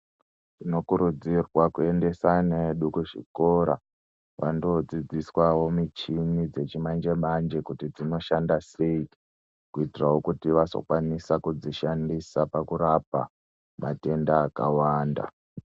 Tino kurudzirwa ku endesa ana edu ku zvikora vando dzidziswawo michini dzechi manje manje kuti dzino shanda sei kuitirawo kuti vazo kwanisa kudzi shandisa paku rapa matenda aka wanda.